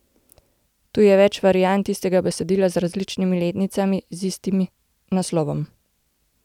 Tu je več variant istega besedila z različnimi letnicami, z istim naslovom.